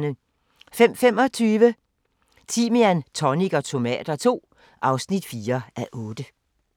05:25: Timian, tonic og tomater II (4:8)